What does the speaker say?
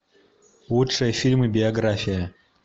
лучшие фильмы биография